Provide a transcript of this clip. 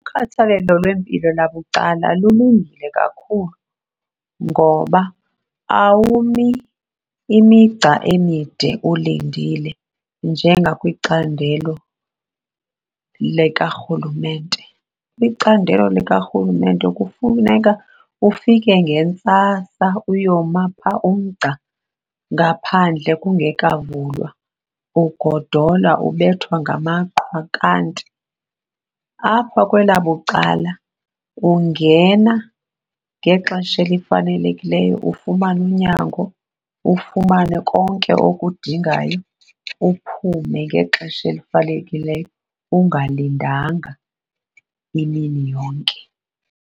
Ukhathalelo lwempilo labucala lulungile kakhulu ngoba awumi imigca emide ulindile njengakwicandelo likarhulumente. Kwicandelo likarhulumente kufuneka ufike ngentsasa uyoma phaa umgca ngaphandle kungekavulwa, ugodola ubethwa ngamaqhwa. Kanti apha kwelabucala ungena ngexesha elifanelekileyo ufumane unyango, ufumane konke okudingayo uphume ngexesha elifanelekileyo, ungalindanga imini yonke.